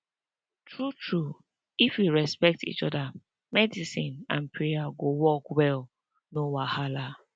true true if we respect each oda medicine and prayer go work well no wahala